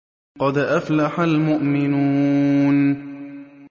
قَدْ أَفْلَحَ الْمُؤْمِنُونَ